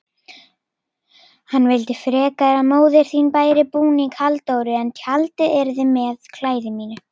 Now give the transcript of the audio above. Hann vildi frekar að móðir þín bæri búning Halldóru en tjaldað yrði með klæði mínu.